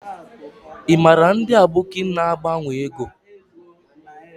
I mara ndi aboki a na agbanwo ego?